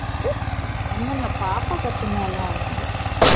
ஒன்னும் இல்ல பாப்பா கத்துனால அது